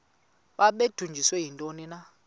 babudunjiswe yintoni na